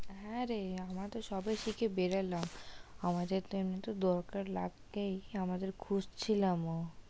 হ্যাঁ রে আমরা তো সবে শিখে বেরোলাম আমাদের তো এমনি এতেও দরকার লাগবেই আমাদের খুঁজছিলাম ও।